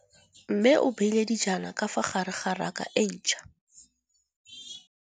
Mmê o beile dijana ka fa gare ga raka e ntšha.